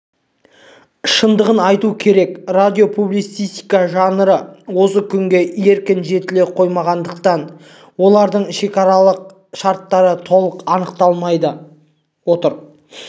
шындығын айту керек радиопублицистика жанрлары осы күнге еркін жетіле қоймағандықтан олардың шекаралық шарттары толық анықталмай отыр